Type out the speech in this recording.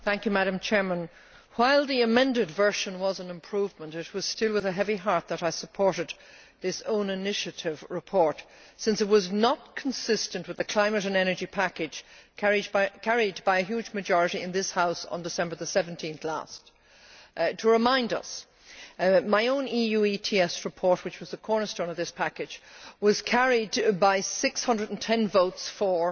Madam President, while the amended version was an improvement, it was still with a heavy heart that I supported this own initiative report, since it was not consistent with the climate and energy package carried by a huge majority in this House on 17 December 2008. Just to remind us, my own EU ETS report, which was the cornerstone of this package, was carried by 610 votes for,